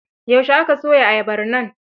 Yaushe aka soya ayabar nan?